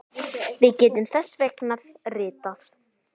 Við getum þess vegna ritað